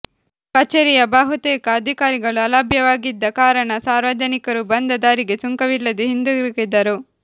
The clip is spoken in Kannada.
ಕಚೇರಿಯ ಬಹುತೇಕ ಅಧಿಕಾರಿಗಳು ಅಲಭ್ಯವಾಗಿದ್ದ ಕಾರಣ ಸಾರ್ವಜನಿಕರು ಬಂದ ದಾರಿಗೆ ಸುಂಕವಿಲ್ಲದೆ ಹಿಂದಿರುಗಿದರು